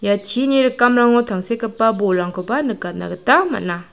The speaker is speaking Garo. chini rikamrango tangsekgipa bolrangkoba nikatna gita man·a.